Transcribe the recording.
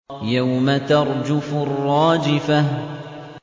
يَوْمَ تَرْجُفُ الرَّاجِفَةُ